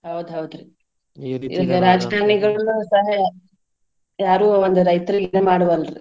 ಹೌದ್ ಹೌದ್ರಿ ಈಗ ರಾಜಕಾರನಿಗೋಳನು ಸಹಾಯ ಯಾರು ಒಂದ್ ರೈತರ್ಗೆ ಇದ್ನ ಮಾಡ್ವಲ್ರಿ.